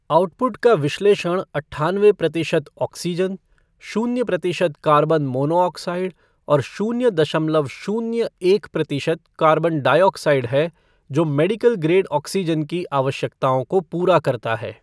Output का विश्लेषण अट्ठानवे प्रतिशत ऑक्सीजन, शून्य प्रतिशत कार्बन मोनोऑक्साइड और शून्य दशमलव शून्य एक प्रतिशत कार्बन डाइऑक्साइड है जो मेडिकल ग्रेड ऑक्सीजन की आवश्यकताओं को पूरा करता है।